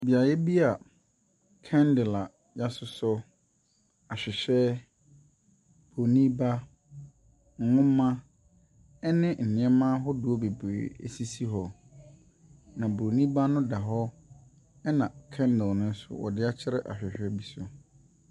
Beaeɛ bi a kɛndɛl a yasosɔ, ahwehwɛ, broni ba, nhoma, ɛne neɛma ahodoɔ bebree esisi hɔ. Na broni ba no da hɔ, ɛna kɛndɛl no nso wɔde akyerɛ ahwehwɛ bi so.